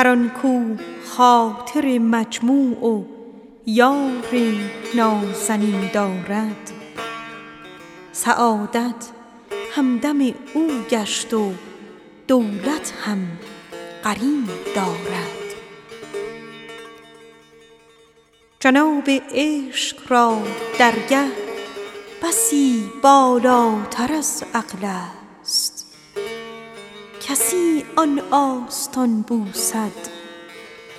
هر آن کاو خاطر مجموع و یار نازنین دارد سعادت همدم او گشت و دولت هم نشین دارد حریم عشق را درگه بسی بالاتر از عقل است کسی آن آستان بوسد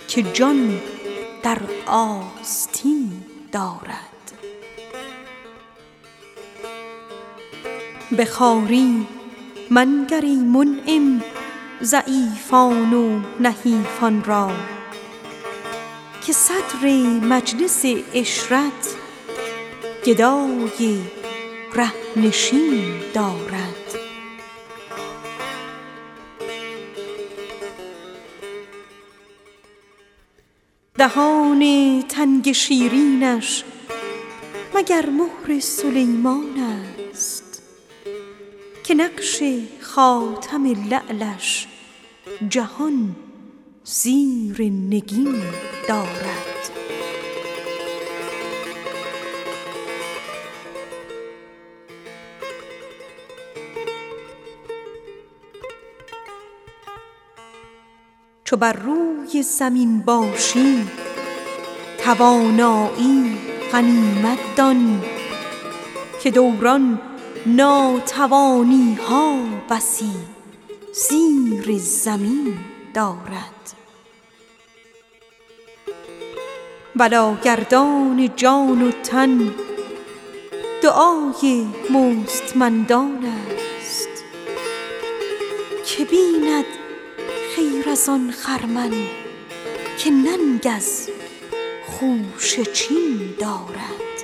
که جان در آستین دارد دهان تنگ شیرینش مگر ملک سلیمان است که نقش خاتم لعلش جهان زیر نگین دارد لب لعل و خط مشکین چو آنش هست و اینش هست بنازم دلبر خود را که حسنش آن و این دارد به خواری منگر ای منعم ضعیفان و نحیفان را که صدر مجلس عشرت گدای ره نشین دارد چو بر روی زمین باشی توانایی غنیمت دان که دوران ناتوانی ها بسی زیر زمین دارد بلاگردان جان و تن دعای مستمندان است که بیند خیر از آن خرمن که ننگ از خوشه چین دارد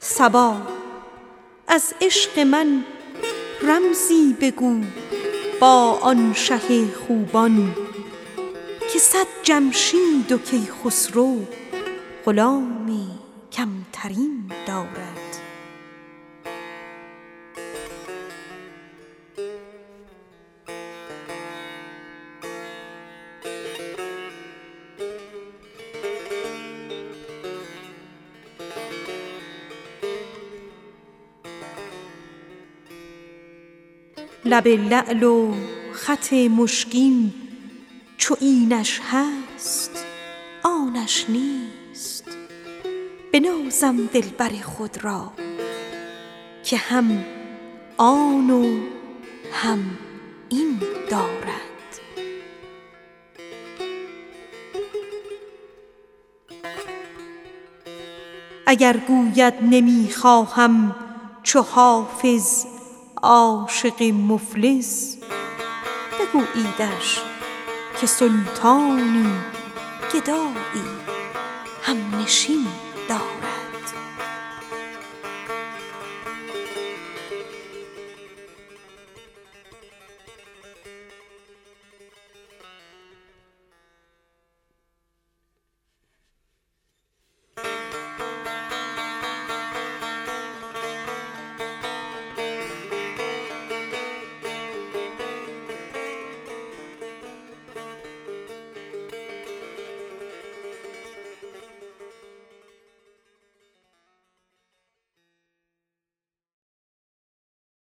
صبا از عشق من رمزی بگو با آن شه خوبان که صد جمشید و کیخسرو غلام کم ترین دارد وگر گوید نمی خواهم چو حافظ عاشق مفلس بگوییدش که سلطانی گدایی هم نشین دارد